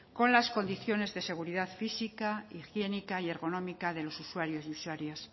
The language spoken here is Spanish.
con las condiciones de seguridad física higiénica y ergonómica de los usuarios y usuarias